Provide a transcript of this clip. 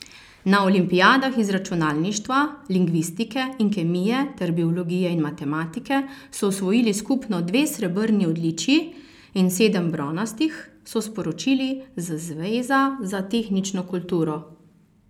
Na olimpijadah iz računalništva, lingvistike in kemije ter biologije in matematike so osvojili skupno dve srebrni odličji in sedem bronastih, so sporočili z zveza za tehnično kulturo.